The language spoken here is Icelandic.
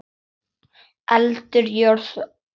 Eldur, jörð, loft, vatn.